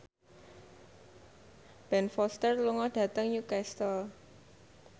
Ben Foster lunga dhateng Newcastle